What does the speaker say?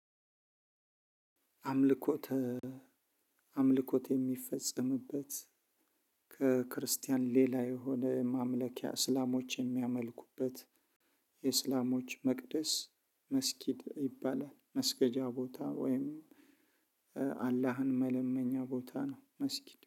አምልኮት አምልኮት የሚፈጽምበት ከክርስቲያን ሌላ የሆነ ማምለኪያ እስላሞች የሚያመልኩበት የእስላሞች መቅደስ መስጊድ ይባላል መስገጃ ቦታ ወይም አላህን መለመኛ ቦታ ነው። መስጊድ